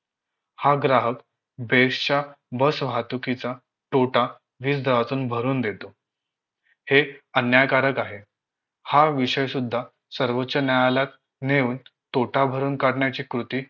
हा ग्राहक बेसच्या बसवाहतुकीचा तोटा वीज दरातून भरून देतो हे अन्यायकारक आहे हा विषय सुद्धा सर्वोच्च न्यायालयात नेऊन तोटा भरून काढण्याची कृती